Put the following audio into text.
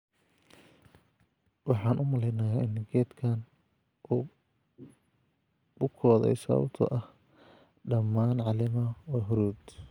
Waxaan u maleynayaa in geedkan uu bukooday sababtoo ah dhammaan caleemaha waa huruud.